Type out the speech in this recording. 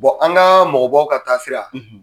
an ka mɔgɔbaw ka taasira.